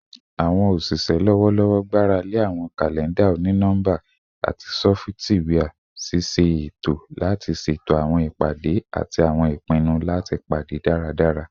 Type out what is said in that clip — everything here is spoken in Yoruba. Awọn oṣiṣẹ lọwọlọwọ gbarale awọn kalẹnda oni-nọmba ati sọfitiwia ṣiṣe eto lati ṣeto awọn ipade ati awọn ipinnu lati pade daradara